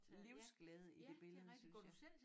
Livsglæde i det billede synes jeg